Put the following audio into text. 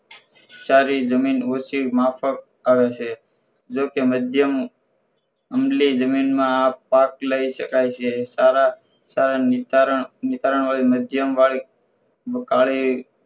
કાળી જમીન ઓછી માફક આવે છે જો કે મધ્યમ ઊંડી જમીનમાં આ પાક લઈ સકાય છે સારા સારા નિતારણ નિકારણ વાળી મધ્યમ વાળી કાળી